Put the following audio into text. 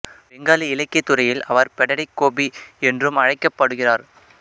பெங்காலி இலக்கியத் துறையில் அவர் படடிக் கோபி என்றும் அழைக்கப்படுகிறார்